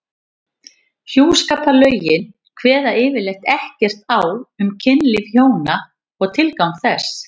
Hjúskaparlögin kveða yfirleitt ekkert á um kynlíf hjóna og tilgang þess.